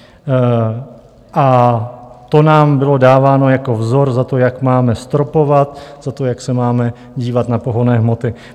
A to nám bylo dáváno jako vzor za to, jak máme stropovat, za to, jak se máme dívat na pohonné hmoty.